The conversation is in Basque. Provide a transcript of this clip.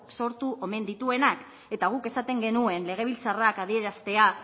sortu omen dituenak eta guk esaten genuen legebiltzarrak adieraztea